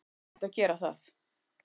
En þau ættu að gera það.